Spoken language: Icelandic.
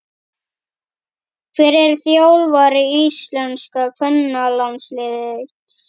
Hver er þjálfari íslenska kvennalandsliðsins?